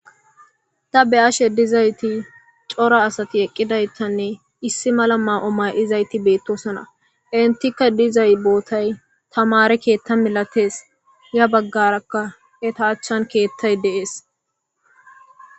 da be ashe dizayti cora asati eqqidaytanne issi mala ma7o may7izayti beettosona entikka dizay bootay tamare keetta milatees ya baggarakka eta achchan keettay deees